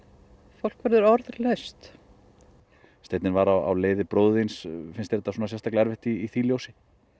fólk verður orðlaust steinninn var á leiði bróður þíns finnst þér þetta sérstaklega erfitt í því ljósi